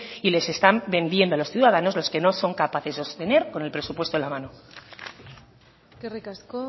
y les están vendiendo a los ciudadanos lo que no son capaces de sostener con el presupuesto en la mano eskerrik asko